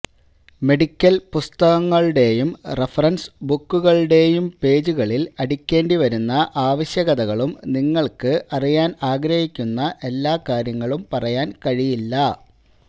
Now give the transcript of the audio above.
medical പുസ്തകങ്ങളുടെയും reference ബുക്കുകളുടെയും പേജുകളിൽ അടിക്കേണ്ടി വരുന്ന ആവശ്യകതകളും നിങ്ങൾക്ക് അറിയാൻ ആഗ്രഹിക്കുന്ന എല്ലാ കാര്യങ്ങളും പറയാൻ കഴിയില്ല